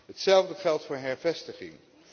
Hetzelfde geldt voor hervestiging.